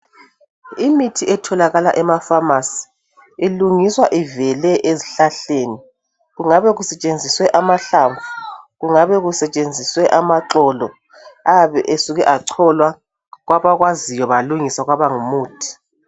Imithi etholakala emafamasi ilungiswa ivele ezihlahleni, kungabe kusetshenziswe amahlamvu,,kungabe kusetshenziswe amaxolo ayabe esuke acholwa kwabakwaziyo kwalungiswa kwaba ngumuthi.